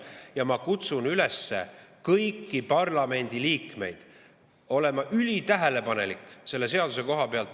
Ja ma kutsun kõiki parlamendiliikmeid üles selle seaduse koha pealt ülitähelepanelik olema.